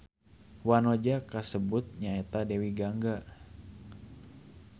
Wanoja kasebut nyaeta Dewi Gangga.